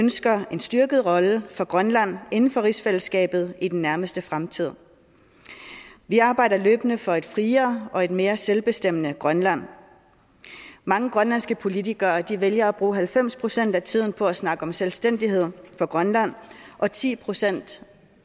ønsker en styrket rolle for grønland inden for rigsfællesskabet i den nærmeste fremtid vi arbejder løbende for et friere og et mere selvbestemmende grønland mange grønlandske politikere vælger at bruge halvfems procent af tiden på at snakke om selvstændighed for grønland og ti procent